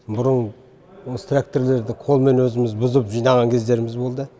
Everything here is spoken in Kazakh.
бұрын осы тракторларды қолмен өзіміз бұзып жинаған кездеріміз болды